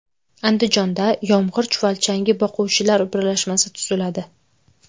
Andijonda yomg‘ir chuvalchangi boquvchilar birlashmasi tuziladi.